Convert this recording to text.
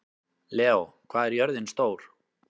Leó, hvað er jörðin stór?